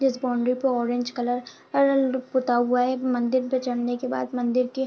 इस बोंडरी पे orange colour अरल पोता हुआ है एक मंदिर पे चढ़ने के बाद मंदिर की --